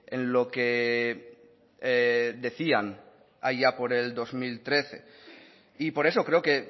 en lo que decían allá por el dos mil trece y por eso creo que